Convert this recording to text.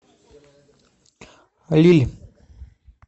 лилль